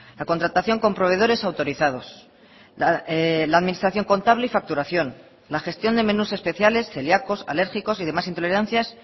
la contratación con proveedores autorizados la administración contable y facturación la gestión de menús especiales celiacos alérgicos y demás intolerancias